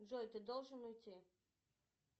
джой ты должен уйти